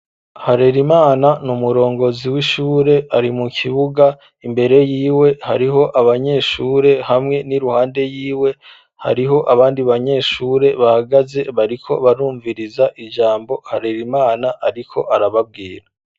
Harerimana niumurongozi w'ishure ari mu kibuga imbere yiwe hariho abanyeshure hamwe n'iruhande y'iwe hariho abandi banyeshure bahagaze bariko barumviriza ijambo harerimana ariko arababwira.